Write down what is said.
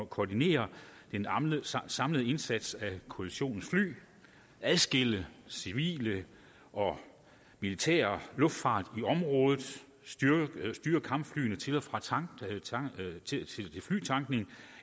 koordinere den samlede indsats af koalitionens fly adskille civil og militær luftfart i området styre kampflyene til og fra flytankning og